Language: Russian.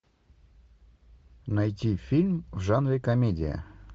найти фильм в жанре комедия